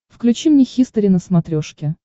включи мне хистори на смотрешке